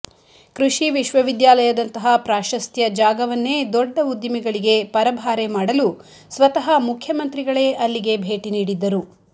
ಕೃಷಿ ವಿಶ್ವವಿದ್ಯಾಲಯದಂತಹ ಪಾಶಸ್ತ್ಯ ಜಾಗವನ್ನೇ ದೊಡ್ಡ ಉದ್ಧಿಮೆಗಳಿಗೆ ಪರಭಾರೆ ಮಾಡಲು ಸ್ವತಃ ಮುಖ್ಯಮಂತ್ರಿಗಳೇ ಅಲ್ಲಿಗೆ ಭೇಟಿನೀಡಿದ್ದರು